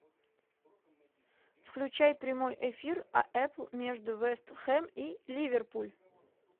включай прямой эфир апл между вест хэм и ливерпуль